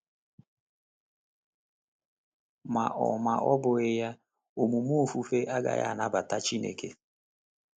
Ma ọ Ma ọ bụghị ya, omume ofufe agaghị anabata Chineke.